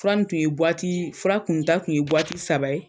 Fura tun ye fura kunnu ta kun ye